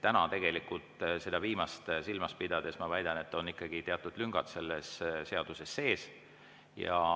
Täna – seda viimast silmas pidades ma seda väidan – on ikkagi teatud lüngad selles seaduses sees.